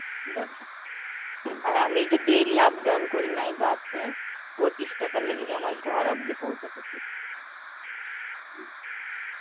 দেখো, আর আমি এই যে daily up down করিনা এই bus এ, পঁচিশ টাকা লেগে যায় আমার ঘর অব্দি পৌছাতে.